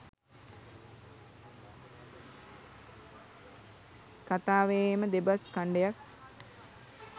කථාවේම දෙබස් කණ්ඩයක්.